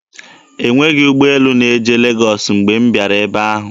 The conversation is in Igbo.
E nweghi ụgbọelu na-eje Legọs mgbe m bịara ebe ahụ.